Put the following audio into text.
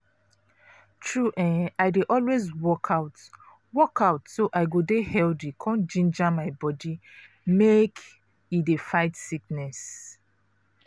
true[um]i dey always work out work out so i go dey healthy con ginger my body make e dey fight sickness.